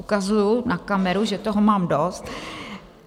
Ukazuji na kameru, že toho mám dost.